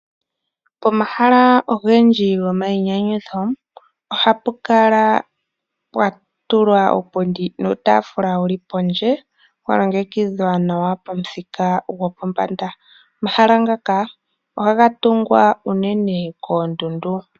Pomahala ogendji gomayinyanyudho ohapu kala pwatulwa uupindi nuutaafula wuli pondje walongekidhwa nawa pamuthika gwopombanda. Omahala ngaka ohaga tungwa unene koondundu